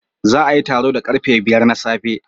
Za a yi taro da karfe biyar na safe